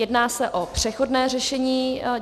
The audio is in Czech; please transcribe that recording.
Jedná se o přechodné řešení.